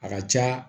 A ka ca